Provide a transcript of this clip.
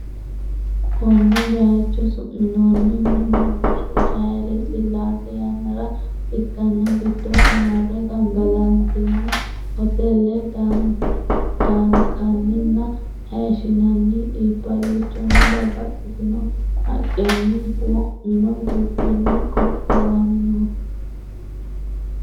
Konne bayicho su minoonnihu Nugusu Hayle Sillaase yannara ikkanna giddosi marre gangalantanni hoteele daankanninna hayishi nanni iibballichonna babbaxxitino haqqenni wo mino dubbinni qoqqowaminoho.